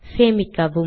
சேமிக்கவும்